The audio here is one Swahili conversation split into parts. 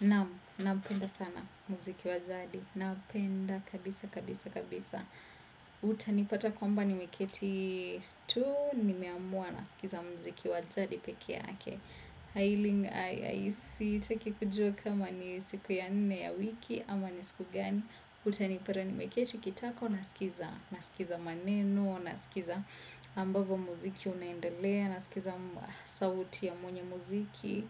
Naam, nampenda sana muziki wa jadi. Napenda kabisa, kabisa, kabisa. Utanipata kwamba nimeketi tu, nimeamua nasikiza muziki wa jadi pekee yake. Sitaki kujua kama ni siku ya nne ama ni siku gani. Utanipata nimeketi kitako, nasikiza, nasikiza maneno, na sikiza ambavo muziki unaendelea, na sikiza sauti ya mwenye muziki.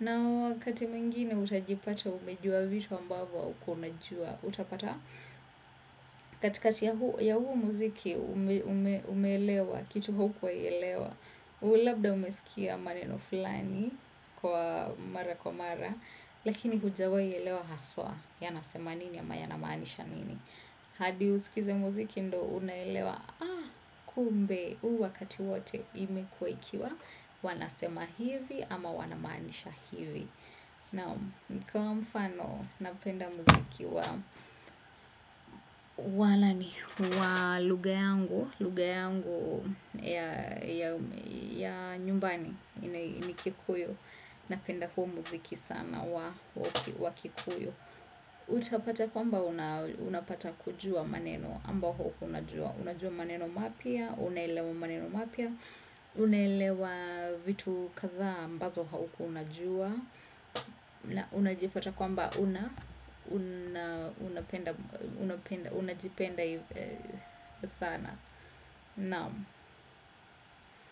Na wakati mwingine utajipata umejua vitu ambavo haukuwa unajua. Utapata kati kati ya huu muziki umeelewa, kitu haukuwahi elewa. Labda umesikia maneno fulani kwa mara kwa mara. Lakini hujawai elewa haswa. Yanasema nini ama yanamaanisha nini. Hadi usikize muziki ndo unaelewa. Kumbe u wakati wote imekuwa ikiwa wanasema hivi ama wanamaanisha hivi naam kwa mfano napenda muziki wa wa nani wa lugha yangu lugha yangu ya ya ya nyumbani ni kikuyu napenda huu muziki sana wa kikuyu utapata kwamba unapata kujua maneno ambao haukuwa unajua unajua maneno mapya. Unaelewa maneno mapya. Unaelewa vitu kadhaa aMbazo haukuwa unajua. Unajipata kwamba Una Unajipenda Sana. Naam.